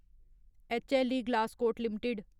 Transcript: H L E Glascoat limited